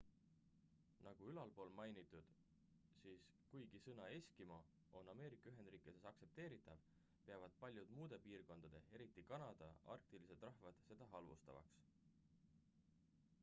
"nagu ülalpool mainitud siis kuigi sõna "eskimo" on ameerika-ühendriikides aktsepteeritav peavad paljud muude piirkondade eriti kanada arktilised rahvad seda halvustavaks.